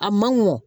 A ma nɔgɔn